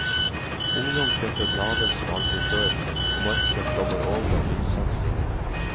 Ungdom kjøper blader som aldri før, og markedet flommer over av nysatsinger.